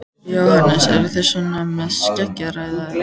Jóhannes: Eruð þið svona að skeggræða það?